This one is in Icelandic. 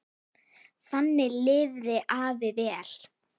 Þannig lifði afi vel.